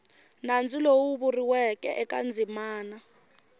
nandzu lowu vuriweke eka ndzimana